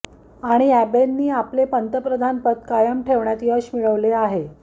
आणि अॅबेंनी आपले पंतप्रधानपद कायम ठेवण्यात यश मिळवले आहे